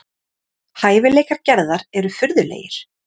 Hæfileikar Gerðar eru furðulegir.